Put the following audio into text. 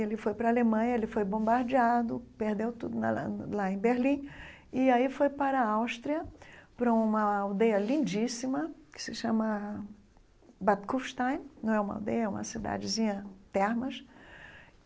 Ele foi para a Alemanha, ele foi bombardeado, perdeu tudo lá na lá em Berlim, e aí foi para a Áustria, para uma aldeia lindíssima, que se chama Bad Kürstein, não é uma aldeia, é uma cidadezinha, Termas.